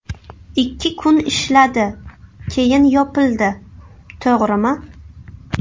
Ikki kun ishladi, keyin yopildi, to‘g‘rimi?